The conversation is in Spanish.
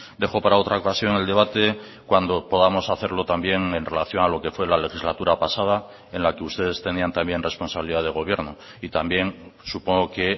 dejó para otra ocasión el debate cuando podamos hacerlo también en relación a lo qué fue la legislatura pasada en la que ustedes tenían también responsabilidad de gobierno y también supongo que